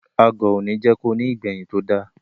Agọ̀ òní jẹ́ ko ní ìgbẹ̀yìn tó da.